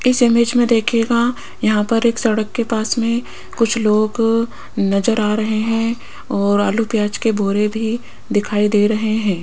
इस इमेज में देखिएगा यहां पर एक सड़क के पास में कुछ लोग नजर आ रहे हैं और आलू प्याज के बोरे भी दिखाई दे रहे हैं।